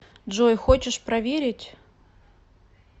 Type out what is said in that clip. джой хочешь проверить